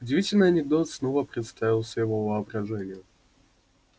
удивительный анекдот снова представился его воображению